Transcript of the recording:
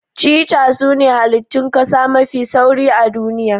Cheetah sune halittun kasa mafi sauri a duniya.